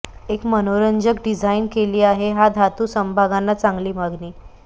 एक मनोरंजक डिझाइन केली आहे हा धातू समभागांना चांगली मागणी